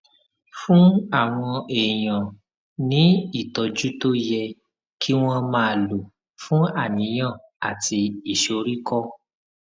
fún àwọn èèyàn ní ìtójú tó yẹ kí wón máa lò fún àníyàn àti ìsoríkó